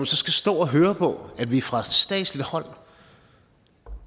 så skal stå og høre på at vi fra statslig hånd